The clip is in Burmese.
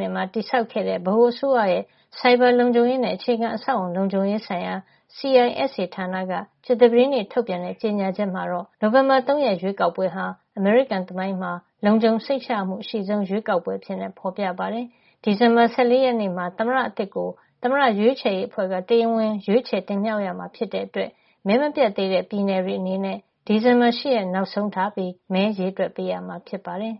၈ မှာ တည်ထောင်ခဲ့တဲ့ ဗဟိုအစိုးရရဲ့ ဆိုင်ဘာလုံခြုံရေးနဲ့ အခြေခံအဆောက်အအုံ လုံခြုံရေးဆိုင်ရာ CISA ဌာနက ကြာသပတေးနေ့ ထုတ်ပြန်တဲ့ ကြေညာချက်မှာတော့ နိုဝင်ဘာလ ၃ ရက် ရွေးကောက်ပွဲဟာ အမေရိကန် သမိုင်းမှာ လုံခြုံစိတ်ချရမှု အရှိဆုံး ရွေးကောက်ပွဲအဖြစ် ဖေါ်ပြထားပါတယ်။ ဒီဇင်ဘာလ ၁၄ ရက်နေ့မှာ သမ္မတအသစ်ကို သမ္မတရွေးချယ်ရေးအဖွဲ့က တရားဝင် ရွေးချယ်တင်မြှောက် ရမှာ ဖြစ်တဲ့ အတွက် မဲမပြတ်သေးတဲ့ ပြည်နယ်တွေ အနေနဲ့ ဒီဇင်ဘာလ ၈ ရက်နေ့ နောက်ဆုံးထားပြီး မဲရေတွက်ပေးရမှာ ဖြစ်ပါတယ်။